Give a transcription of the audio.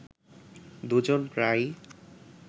দুজন প্রায়ই